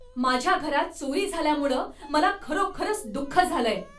माझ्या घरात चोरी झाल्यामुळं मला खरोखरच दुःख झालंय.